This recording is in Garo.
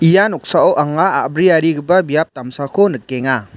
ia noksao anga a·briarigipa biap damsako nikenga.